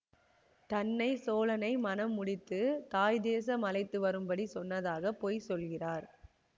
தன்னை சோழனை மணம் முடித்து தாய் தேசம் அழைத்துவரும்படி சொன்னதாக பொய் சொல்கிறார்